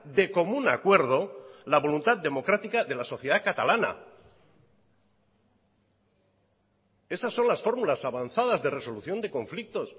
de común acuerdo la voluntad democrática de la sociedad catalana esas son las fórmulas avanzadas de resolución de conflictos